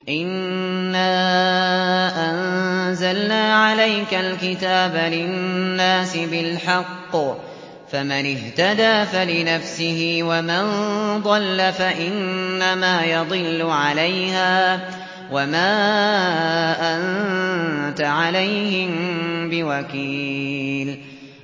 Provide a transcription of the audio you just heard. إِنَّا أَنزَلْنَا عَلَيْكَ الْكِتَابَ لِلنَّاسِ بِالْحَقِّ ۖ فَمَنِ اهْتَدَىٰ فَلِنَفْسِهِ ۖ وَمَن ضَلَّ فَإِنَّمَا يَضِلُّ عَلَيْهَا ۖ وَمَا أَنتَ عَلَيْهِم بِوَكِيلٍ